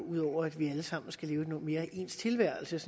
ud over at vi alle sammen skal leve en mere ens tilværelse